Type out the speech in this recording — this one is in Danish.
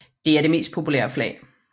Det er det mest populære flag